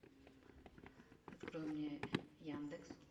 открой мне яндекс